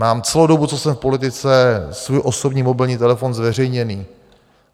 Mám celou dobu, co jsem v politice, svůj osobní mobilní telefon zveřejněný.